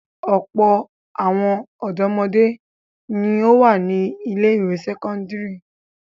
Ọ̀pọ̀ àwọn ọ̀dọ́mọdé ni ó wà ní ilé-ìwé sẹ́kọ́ndárì.